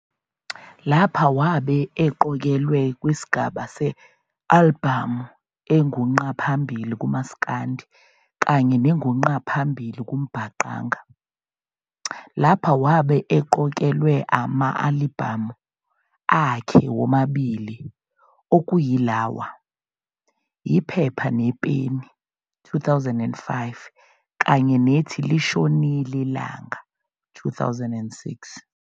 Lapha wabe eqokelwe kwisigaba se-alibhamu engu ngqa phambili kuMasikandi kanye nengu ngqa phambili kuMbaqanga. Lapha wabe eqokelwe amalibhamu akhe womabili okuyilawa, "Iphepha Nepeni", 2005, kanye nethi "Lishonil' Ilanga", 2006.